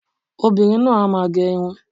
Obinrin náà a máa ge̩ irun.